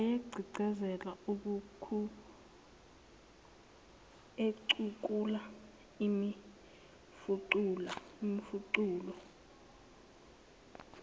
wayegqigqizela equkula imifuqulu